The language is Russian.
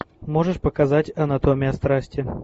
можешь показать анатомия страсти